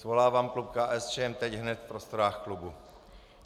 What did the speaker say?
Svolávám klub KSČM teď hned v prostorách klubu.